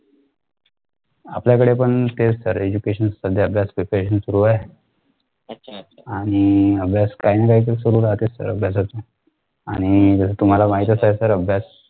आपल्याकडे पण तेच sir education सध्या preparation सुरु आहे आणि अभ्यास काही ना काही तर सुरु राहतेच sir अभ्यासाच. आणि जसं तुम्हाला माहीतच आहे sir अभ्यास